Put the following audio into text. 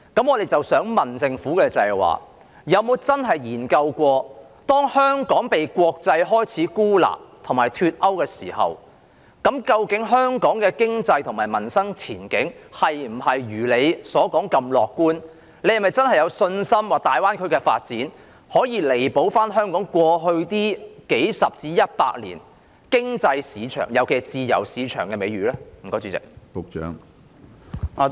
我想問政府有否真的研究過，當香港開始被國際孤立和脫鈎時，究竟香港的經濟和民生前景是否如政府所說般樂觀，政府是否真的有信心，大灣區的發展可以彌補香港過去數十年至百年的自由市場經濟美譽呢？